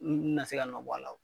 N n na se ka nɔ bɔ a la o